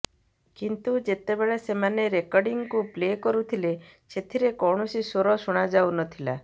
କିନ୍ତୁ ଯେତେବେଳେ ସେମାନେ ରେକଡ଼ିଂକୁ ପ୍ଳେ କରୁଥିଲେ ସେଥିରେ କୌଣସି ସ୍ବର ଶୂଣାଯାଉନଥିଲା